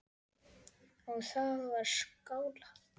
Og það var skálað.